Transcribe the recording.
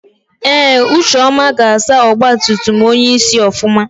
Ee ucheọma ga-asa ọgbatumtum onyeisi ofụma.